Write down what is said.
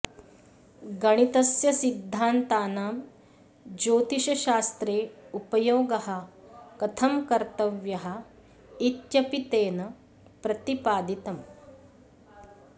गणितस्य सिद्धान्तानां ज्योतिषशास्त्रे उपयोगः कथं कर्तव्यः इत्यपि तेन प्रतिपादितम्